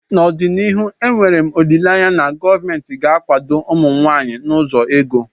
N'ọdịnihu enwere m olileanya na gọọmentị ga-akwado ụmụ nwanyị n'ụzọ ego